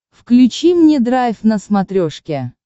включи мне драйв на смотрешке